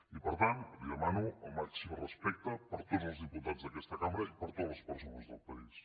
i per tant li demano el màxim respecte per a tots els diputats d’aquesta cambra i per a totes les persones del país